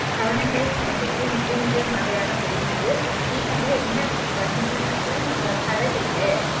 Seven hundred and seventy three milli meter മഴയാണ് പെയ്യുന്നത് ഈ മഴ എങ്ങനെയാ വരണത്ന്ന് വെച്ച കടലില്ലെ